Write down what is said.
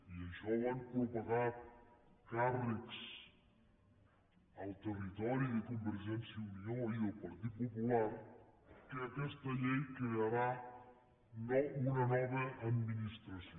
i això ho han propagat càrrecs al territori de convergència i unió i del partit popular que aquesta llei crearà una nova administració